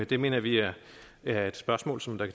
det mener vi er er et spørgsmål som der